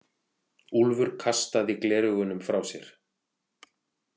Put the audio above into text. Úlfur kastaði gleraugunum frá sér.